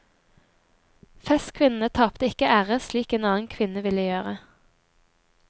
Festekvinnene tapte ikke ære slik en annen kvinne ville gjøre.